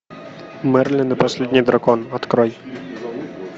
мерлин и последний дракон открой